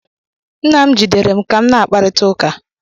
Nna m jidere m ka m na-akparịta ụka.